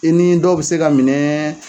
I ni dɔw bɛ se ka minɛ.